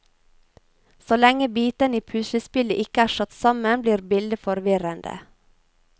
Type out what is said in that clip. Så lenge bitene i puslespillet ikke er satt sammen blir bildet forvirrende.